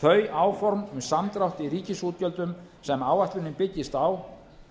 þau áform um samdrátt í ríkisútgjöldunum sem áætlunin byggist á